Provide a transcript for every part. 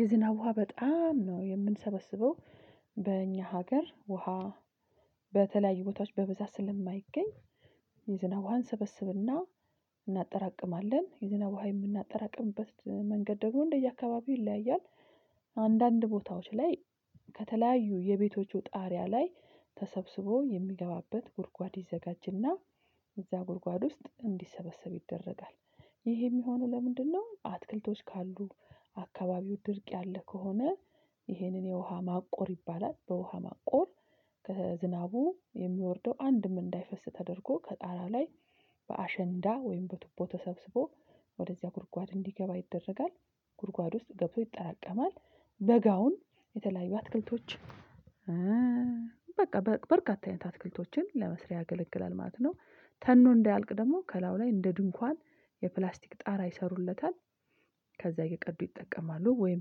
የዝናብ ውሃ በጣም ነው የምንሰበስበው በእኛ ሀገር ውሃ በተለያዩ ቦታዎች በብዛት ስለማይገኝ የዝናብ ውሃ ሰበስብና እናጠራቅማለን የዝናብ ውሃ የምናጠራቅምበት መንገድ ደግሞ እንደየአካባቢው ይለያያል። አንዳንድ ቦታዎች ላይ ከተለያዩ የቤቶቹ ጣሪያ ላይ ተሰብስቦ የሚገባበት ጉድጓድ ይዘጋጅና እዛ ጉድጓድ ውስጥ እንዲሰበሰብ ይደረጋል። ይሄም የሆነ ለምንድነው አትክልቶች ካሉ አከባቢው ድርቅ ያለ ከሆነ ይሄንን የውሃ ማቆር ይባላል በውሃ ማቆር ከዝናቡ የሚወርደው አንድም እንዳይፈስ ተደርጎ ከጣራ ላይ በአሸንዳ ወይም በቱቦ ተሰብስቦ ወደዚያ ጉድጓድ እንዲገባ ይደረጋል። ጉድጓድ ውስጥ ገብቶ ይጠራቀማል። በጋውን የተለያዩ አትክልቶች በቃ በርግጥ አይነት አትክልቶችን ለመስሪያ የገለግላል ማለት ነው። ተኖ እንዳያልቅ ደግሞ ከላው ላይ እንደ ድንኳን የፕላስቲክ ጣራ ይሰሩለታል። ከዛ የቀዱ ይጠቀማሉ ወይም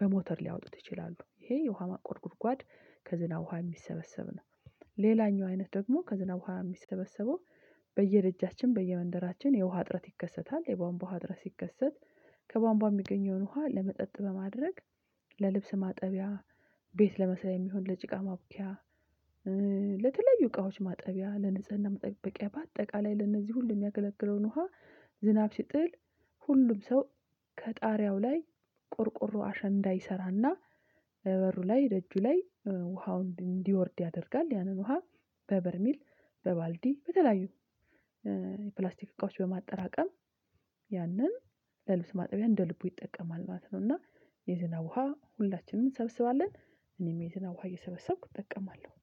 በሞተር ሊያወጡት ይችላሉ። ይሄ የውሃ ማቆር ጉድጓድ ከዝናብ ውሃ የሚሰበሰብ ነው። ሌላኛው አይነት ደግሞ ከዝናብ ውሃ የሚሰበሰበው በየደጃችን በየመንደራችን የውሃ እጥረት ይከሰታል። የቧንቧ እጥረት ሲከሰት ከቧንቧ የሚገኘውን ውሃ ለመጠጥ በማድረግ ለልብስ ማጠቢያ ቤት ለመስራት የሚሆን ለጭቃ ማብቂያ ለተለዩ እቃዎች ማጠቢያ ለንጽህና መጠበቂያ በአጠቃላይ ለነዚህ ሁሉ የሚያገለግለውን ውሃ ዝናብ ሲጥል ሁሉም ሰው ከጣሪያው ላይ ቆርቆሮ አሸንዳ ይሰራልና በበሩ ላይ ደጁ ላይ ውሃውን እንዲወርድ ያደርጋል ያንን ውሃ በበርሜል በባልዲ በተለያዩ የፕላስቲክ እቃዎች በማጠራቀም ያንን ለልብስ ማጠቢያ እንደ ልቡ ይጠቀማል ማለት ነው። እና የዝናብ ውሃ ሁላችንም እንሰብስባለን እኔም የዝናብ ውሃ እየሰበሰብኩት እጠቀማለው።